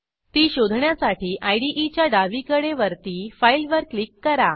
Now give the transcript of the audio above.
ती शोधण्यासाठी IDEच्या डावीकडे वरती Fileवर क्लिक करा